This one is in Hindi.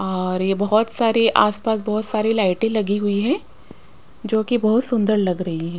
और ये बहुत सारे आसपास बहुत सारी लाइटें लगी हुई है जोकि बहुत सुंदर लग रही हैं।